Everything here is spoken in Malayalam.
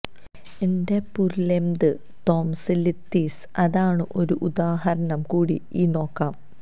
ന്റെ പുരുലെംത് തൊംസില്ലിതിസ് അതാണു ഒരു ഉദാഹരണം കൂടി ഈ നോക്കാം